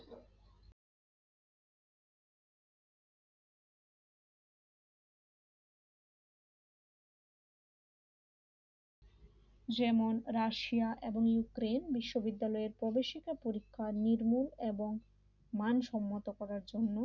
যেমন রাশিয়া এবং ইউক্রেন বিদ্যালয়ের প্রবেশিকা পরীক্ষা নির্ভুল এবং মানসম্মত করার জন্য